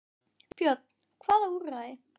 Björn: Hvaða úrræði?